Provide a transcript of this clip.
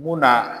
Munna